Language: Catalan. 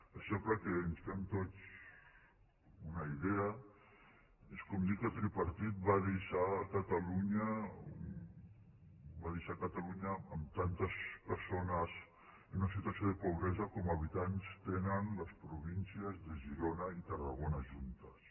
això perquè ens en fem tots una idea és com dir que el tripartit va deixar catalunya amb tantes persones en situació de pobresa com habitants tenen les províncies de girona i tarragona juntes